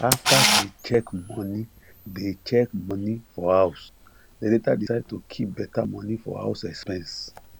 after they check money they check money for house they later decide to keep better money for house expense